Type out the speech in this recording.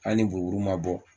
Ali ni buruburi ma bɔ